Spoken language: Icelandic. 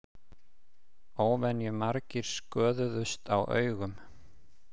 Óvenjumargir sköðuðust á augum